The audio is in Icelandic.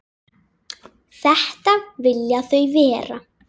Þetta vilja þau vera.